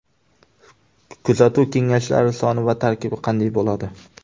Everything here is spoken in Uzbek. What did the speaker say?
Kuzatuv kengashlari soni va tarkibi qanday bo‘ladi?